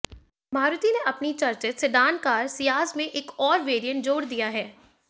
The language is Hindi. मारुति ने अपनी चर्चित सेडान कार सियाज में एक और वेरिएंट जोड़ दिया है